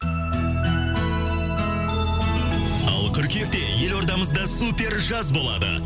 ал қыркүйекте елордамызда супер жаз болады